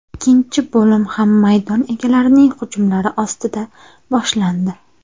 Ikkinchi bo‘lim ham maydon egalarining hujumlari ostida boshlandi.